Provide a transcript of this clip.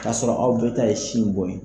K'a sɔrɔ aw bɛɛ taa ye sin bon yen